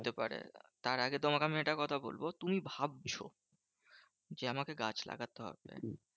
হতে পারে। তার আগে তোমাকে একটা কথা বলবো, তুমি ভাবছো যে আমাকে গাছ লাগাতে হবে।